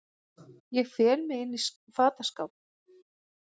Ég fel mig inní fataskáp.